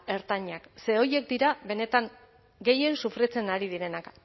ertainak ze horiek dira benetan gehien sufritzen ari direnak